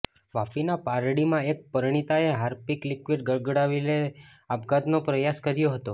વાપીના પારડીમાં એક પરિણીતાએ હાર્પિક લીકવીડ ગટગટાવી આપઘાતનો પ્રયાસ કર્યો હતો